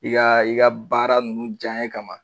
i ka baara ninnu janye kama